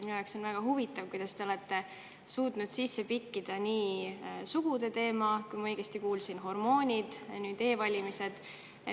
Minu jaoks on väga huvitav, kuidas te olete suutnud siia sisse pikkida sugude teema, kui ma õigesti kuulsin, hormoonid ja nüüd e-valimised.